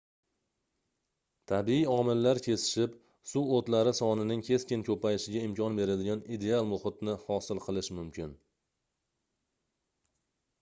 tabiiy omillar kesishib suv oʻtlari sonining keskin koʻpayishiga imkon beradigan ideal muhitni hosil qilishi mumkin